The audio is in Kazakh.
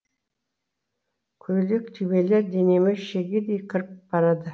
көйлек түймелер денеме шегедей кіріп барады